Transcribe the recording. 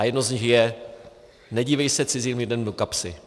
A jedno z nich je "nedívej se cizím lidem do kapsy".